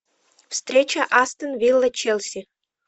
встреча астон вилла челси